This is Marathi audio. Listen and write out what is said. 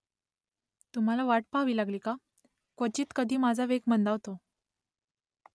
तुम्हाला वाट पहावी लागली का ? क्वचित कधी माझा वेग मंदावतो